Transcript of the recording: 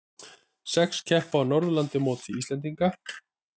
Sex keppa á Norðurlandamóti unglinga